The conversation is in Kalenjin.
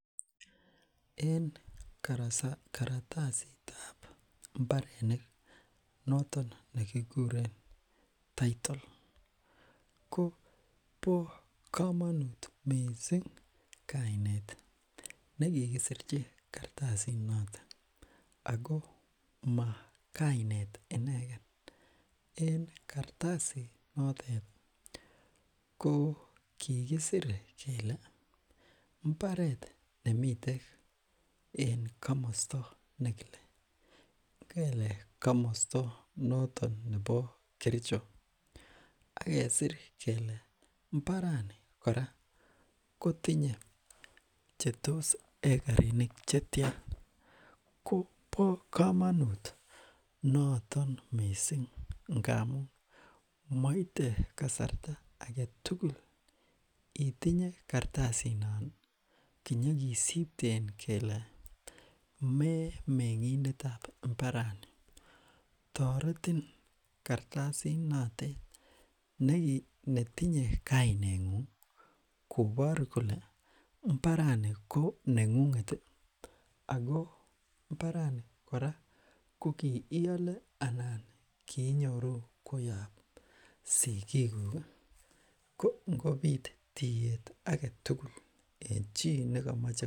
En karatasitab mbarenik ii noton ne kikuren tittle ko bo kamanut mising kainet ne kikisirchi kartasinotet, ako ma kainet ineken, en kartasinotet ko kikisire kele, mbaret nemiten en kamosto ne kile, ngele komosta noton nebo Kericho ak kesir kele mbarani kora kotinye che tos hekarinik che tia, kobo kamanut noton mising ngamun, maite kasarta ake tugul itinye kartasinon ii kinyikisipten kele me mengindetab mbarani, toretin kartasinotet netinye kainengung, kobor kole mbarani ko nengunget ii ako mbarani kora ko iiale anan kinyoru koyop sigikuk ii, ko ngobit tiiyet ake tugul eng chi ne kamache...